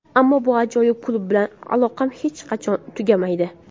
Ammo bu ajoyib klub bilan aloqam hech qachon tugamaydi.